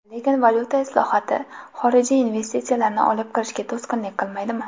Lekin valyuta islohoti xorijiy investitsiyalarni olib kirishga to‘sqinlik qilmaydimi?